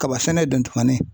Kaba sɛnɛ don tumanin